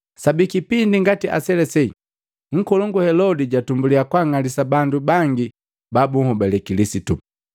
Sabi kipindi ngati aselase, nkolongu Helodi jatumbuliya kwang'alisa bandu bangi ba bunhobale Kilisitu.